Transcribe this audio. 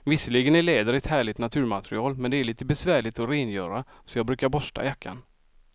Visserligen är läder ett härligt naturmaterial, men det är lite besvärligt att rengöra, så jag brukar borsta jackan.